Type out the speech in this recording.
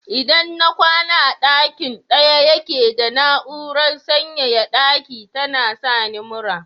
Idan na kwana a dakin daya yake da na'urar sanyaya daki tana sani mura.